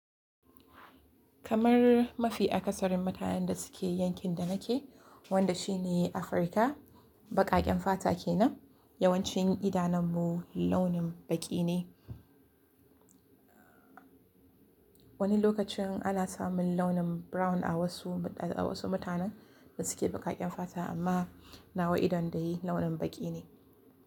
Kamar mafi akasarin mutanen da suke yankin da nake, wanda shi ne Afirka, baƙaƙen fata ke nan. Yawancin idanun mu launin baƙi ne. Wani lokacin ana samun launin brown a wasu, a wasu mutanen da suke baƙaƙen fata, amma nawa idon da yi launin baƙi ne.